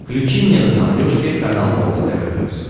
включи мне на смотрешке канал бокс тв плюс